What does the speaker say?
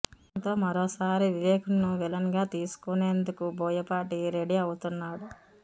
దీంతో మరోసారి వివేక్ను విలన్గా తీసుకునేందుకు బోయపాటి రెడీ అవుతున్నాడు